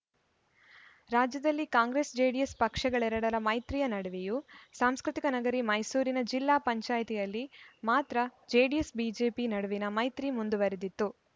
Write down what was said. ರಾಜ್ಯದಲ್ಲಿ ಕಾಂಗ್ರೆಸ್‌ಜೆಡಿಎಸ್‌ ಪಕ್ಷಗಳೆರಡರ ಮೈತ್ರಿಯ ನಡುವೆಯೂ ಸಾಂಸ್ಕೃತಿಕ ನಗರಿ ಮೈಸೂರಿನ ಜಿಲ್ಲಾ ಪಂಚಾಯ್ತಿಯಲ್ಲಿ ಮಾತ್ರ ಜೆಡಿಎಸ್‌ಬಿಜೆಪಿ ನಡುವಿನ ಮೈತ್ರಿ ಮುಂದುವರೆದಿತ್ತು